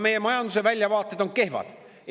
Meie majanduse väljavaated on kehvad.